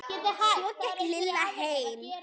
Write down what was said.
Svo gekk Lilla heim.